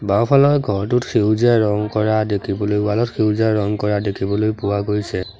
বাওঁফালৰ ঘৰটোত সেউজীয়া ৰং কৰা দেখিবলৈ ৱাল ত সেউজীয়া ৰং কৰা দেখিবলৈ পোৱা গৈছে।